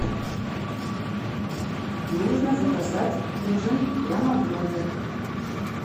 нужно заказать ужин прямо в номер